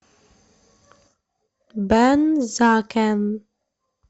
бензакен